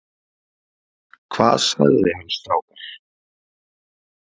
Hvað sagði hann strákar?